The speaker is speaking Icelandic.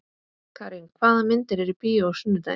Karin, hvaða myndir eru í bíó á sunnudaginn?